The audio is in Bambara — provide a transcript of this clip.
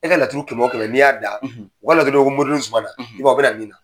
E ka laturu kɛmɛ o kɛmɛ n'i y'a da, o ka laturu dɔ bɛ yen ko moriden Zumana i b'a ye o bɛ na min na.